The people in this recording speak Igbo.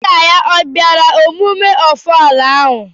Nna ya obiara emume ofala ahụ?